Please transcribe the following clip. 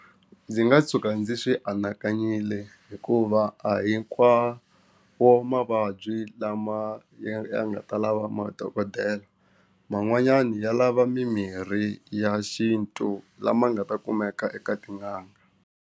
Ndzi nga tshuka ndzi swi anakanyile hikuva a hinkwawo mavabyi lama ya nga ta lava madokodela man'wanyana ya lava mimirhi ya xintu lama nga ta kumeka eka tin'anga.